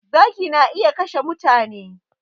Zaki na iya kashe mutane